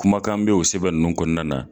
Kumakan bɛ u sebɛn ninnu kɔnɔna na.